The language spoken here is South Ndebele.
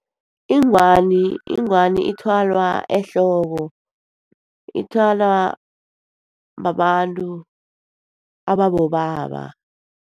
Ingwani, ingwani ithwalwa ehloko. Ithwalwa babantu ababobaba.